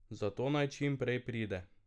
Zato naj čim prej pride.